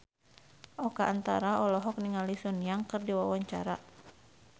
Oka Antara olohok ningali Sun Yang keur diwawancara